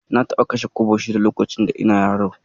Na taɓa kashe kwabo shida lokacin da ina yaro